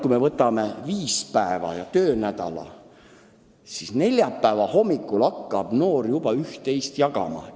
Kui me kulutame selleks viis päeva ehk töönädala, siis ehk neljapäeva hommikul hakkab noor üht-teist jagama.